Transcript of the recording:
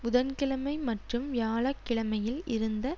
புதன்கிழமை மற்றும் வியாழக்கிழமையில் இருந்த